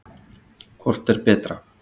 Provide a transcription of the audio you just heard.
Hvort er betra?